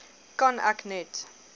kan ek net